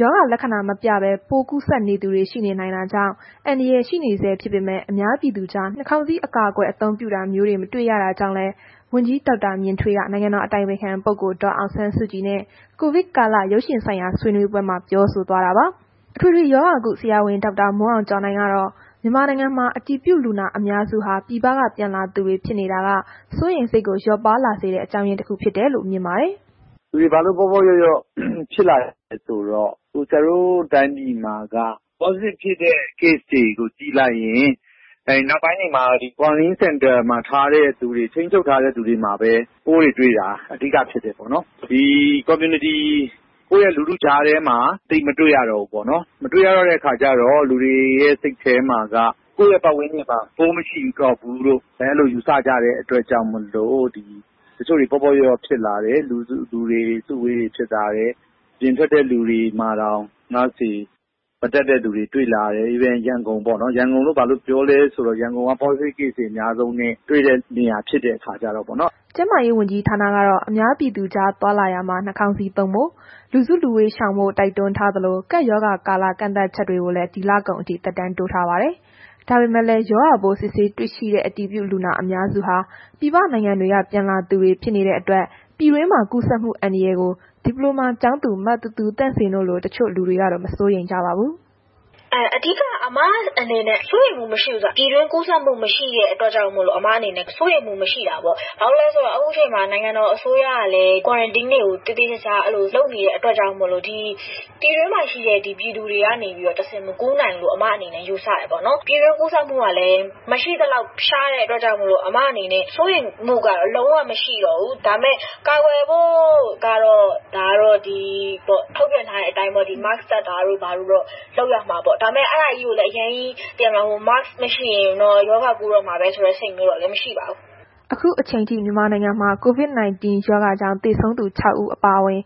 ရောဂါလက္ခဏာမပြဘဲ ပိုးကူးစက်နေသူတွေ ရှိနိုင်တာကြောင့် အန္တရာယ်ရှိနေဆဲ ဖြစ်ပေမဲ့ အများပြည်သူကြား နှာခေါင်းစည်း အကာအကွယ် အသုံးပြုတာမျိုးတွေ မတွေ့ရကြောင်လည်း ဝန်ကြီးဒေါက်တာမြင့်ထွေးက နိုင်ငံတော်အတိုင်ပင်ခံပုဂ္ဂိုလ် ဒေါ်အောင်ဆန်းစုကြည်နဲ့ ကိုဗစ်ကာလ ရုပ်ရှင်ဆိုင်ရာဆွေးနွေးပွဲမှာ ပြောဆိုသွားပါတယ်။ အထွေထွေရောဂါကု ဆရာဝန် ဒေါက်တာမိုးအောင်ကျော်နိုင်ကတော့ မြန်မာနိုင်ငံမှာ အတည်ပြုလူနာ အများစုဟာ ပြည်ပက ပြန်လာသူတွေ ဖြစ်နေတာက စိုးရိမ်စိတ်လျော့ပါးလာတဲ့ အကြောင်းရင်းတခုလို့ မြင်ပါတယ်။ “လူတွေဘာလို့ ပေါ့ပေါ့လျော့လျော့ ဖြစ်လာသလဲဆိုတော့ ဆရာတို့တိုင်းပြည်မှာက Positive ဖြစ်တဲ့ Case တွေကို ကြည့်လိုက်ရင် နောက်ပိုင်းတွေမှာ ဒီ Quarantine Center တွေမှာ ထားတဲ့သူ၊ ထိန်းချုပ်ထားတဲ့သူတွေမှာပဲ ပိုးတွေတွေတာ အဓိကဖြစ်တယ်ပေ့ါနှော်။ ဒီ Community ကိုယ့်ရဲ့ လူထုကြားထဲမှာ သိပ်မတွေ့ရတော့ဘူးပေါ့နော်။ မတွေ့ရတော့တဲ့အခါကျတော့ လူတွေရဲ့ စိတ်ထဲမှာက ကိုယ့်ရဲ့ ပတ်ဝန်းကျင်မှာ ပိုးမရှိတော့ဘူးလို့ အဲ့လိုယူဆကြတဲ့ အတွက်ကြောင့်မို့လို့ တချို့တွေ ပေါ့ပေါ့လျော့လျော့ဖြစ်လာတယ်။ လူစုလူဝေးတွေဖြစ်လာတယ်။ အပြင်ထွက်တဲ့လူတွေမှာတောင် Mask တွေ မတပ်တဲ့သူတွေ တွေ့လာတယ်။ အထူးသဖြင့် ရန်ကုန်ပေါ့နော်။ ရန်ကုန်လို့ဘာလို့ပြောလဲ ဆိုတော့ ရန်ကုန်က Positive Case တွေ အများဆုံးနဲ့ တွေ့တဲ့နေရာဖြစ်တဲ့ခါကျတော့ပေါ့နော်။” ကျန်မားရေးဝန်ကြီးဌာနကတော့ အများပြည်သူကြား သွားလာရာမှာ နှာခေါင်းစည်းသုံးဖို့ လူစုလူဝေးရှောင်ဖို့ တိုက်တွန်းထားသလို ကပ်ရောဂါကာလ ကန့်သတ်ချက်တွေကိုလည်း ဒီလကုန်အထိ သက်တမ်းတိုးထားပါတယ်။ ဒါပေမဲ့လည်း ရောဂါပိုးစစ်ဆေးတွေ့ရှိတဲ့ အတည်ပြုလူနာ အများစုဟာ ပြည်ပနိုင်ငံတွေက ပြန်လာသူတွေ ဖြစ်နေတဲ့အတွက် ပြည်တွင်းမှာ ကူးစက်မှုအန္တရာယ်ကို ဒီပလိုမာကျောင်းသူ မသူသူသန့်စင် တို့လို တချို့လူတွေကတော့ မစိုးရိမ်ကြပါဘူး။ “အဓိက အမအနေနဲ့ စိုးရိမ်မှု မရှိဘူးဆိုတာက ပြည်တွင်းကူးစက်မှုမရှိတဲ့ကြောင့်မို့အမအနေနဲ့ စိုးရိမ်မှု မရှိတာပေါ့။ ဘာလို့လည်းဆိုတော့ ခုအချိန်မှာ နိုင်ငံတော်အစိုးရကလည်း Quarantine တွေကို သေသေချာချာ အဲ့လို လုပ်နေတဲ့အတွက်ကြောင့်မို့လို့ ဒီပြည်တွင်းမှာရှိတဲ့ပြည်သူတွေကနေတဆင့် မကူးစက်နိုင်တော့ဘူးလို့ အမအနေနဲ့ ယူဆတယ်ပေါ့နော်။ ပြည်တွင်းကူးစက်မှုကလည်း မရှိသလောက်ရှားတဲ့အတွက်ကြောင့်မို့လို့ အမအနေနဲ့ စိုးရိမ်မှုကတော့ လုံးဝမရှိတော့ဘူး။ ဒါပေမဲ့ ကာကွယ်ဖို့ကတော့ ဒါကတော့ ထုတ်ပြန်ထားတဲ့အတိုင်းပေါ့၊ Mask တပ်တာတို့ ဘာတို့တော့ လုပ်ရမှာပေါ့။ ဒါပေမဲ့ အဲ့ဒါကြီးကိုလည်း အရမ်းကြီး Mask မရှိရင်တော့ ရောဂါပိုးကူးတော့မှာပဲဆိုတဲ့ စိတ်မျိုးတော့လည်း မရှိပါဘူး။” အခုအချိန်အထိ မြန်မာနိုင်ငံမှာ COVID-19 ရောဂါကြောင့် သေဆုံးသူ ခြောက် ဦးအပါအဝင်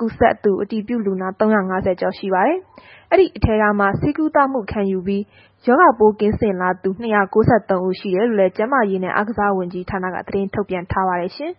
ကူးစက်သူ အတည်ပြုလူနာ ၃၅၀ ကျော်ရှိပါတယ်။ ဒီအထဲမှာ ဆေးကုသမှုခံယူပြီး ရောဂါပိုးကင်းစင်လာသူ ၂၉၃ ဦး ရှိကြောင်းလည်း ကျန်းမာရေးနဲ့ အားကစားဝန်ကြီးဌာနက သတင်းထုတ်ပြန်ထားပါတယ်ရှင်။